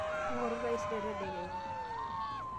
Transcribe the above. ingoru taisere tedekenya